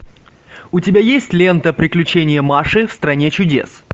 у тебя есть лента приключения маши в стране чудес